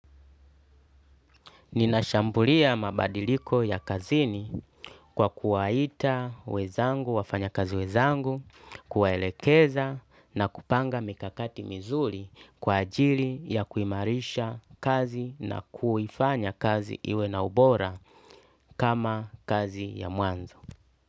Ninashambulia mabadiliko ya kazini kwa kuwaita wenzangu, wafanya kazi wenzangu, kuwaelekeza na kupanga mikakati mizuri kwa ajili ya kuimarisha kazi na kuifanya kazi iwe na ubora kama kazi ya mwanzo.